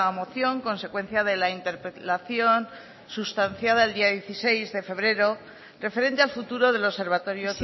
moción consecuencia de la interpelación sustanciada el día dieciséis de febrero referente al futuro del observatorio